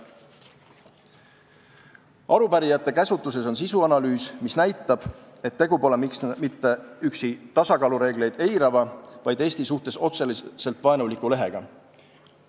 Arupärijate käsutuses on sisuanalüüs, mis näitab, et tegemist pole mitte üksi tasakaalureegleid eirava, vaid Eesti suhtes otseselt vaenuliku lehega.